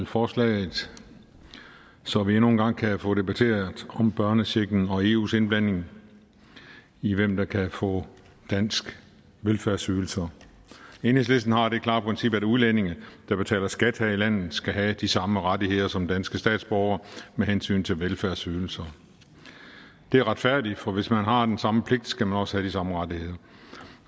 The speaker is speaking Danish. forslaget så vi endnu en gang kan få debatteret om børnechecken og eus indblanding i hvem der kan få danske velfærdsydelser enhedslisten har det klare princip at udlændinge der betaler skat her i landet skal have de samme rettigheder som danske statsborgere med hensyn til velfærdsydelser det er retfærdigt for hvis man har den samme pligt skal man også have de samme rettigheder